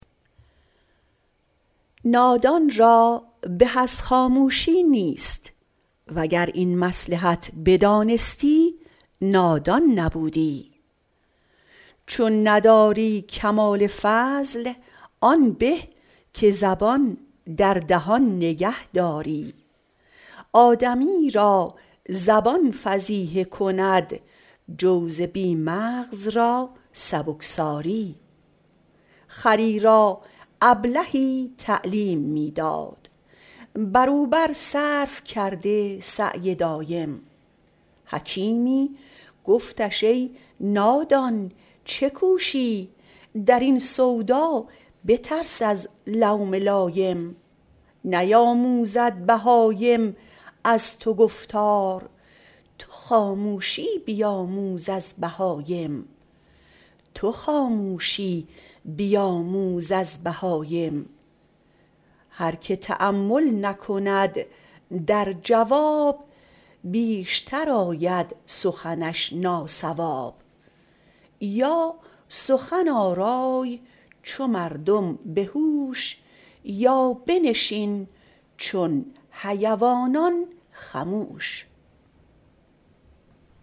نادان را به از خاموشی نیست وگر این مصلحت بدانستی نادان نبودی چون نداری کمال فضل آن به که زبان در دهان نگه داری آدمی را زبان فضیحه کند جوز بی مغز را سبکساری خری را ابلهی تعلیم می داد بر او بر صرف کرده سعی دایم حکیمی گفتش ای نادان چه کوشی در این سودا بترس از لوم لایم نیاموزد بهایم از تو گفتار تو خاموشی بیاموز از بهایم هر که تأمل نکند در جواب بیشتر آید سخنش ناصواب یا سخن آرای چو مردم به هوش یا بنشین چون حیوانان خموش